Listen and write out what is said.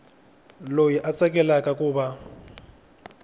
loyi a tsakelaka ku va